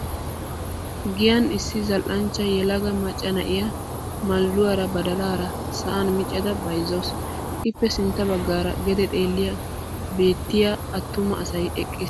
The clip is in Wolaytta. Giyan issi zal"anchcha yelaga macca na'iyaa maldduwaara badalaara sa"an miccada bayizzawusu. Ippe sintta baggaara gede xallayi beettiyo attuma asayi eqqis.